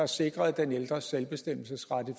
sikre den ældres selvbestemmelsesret i